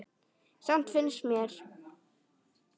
Samt finnst mér.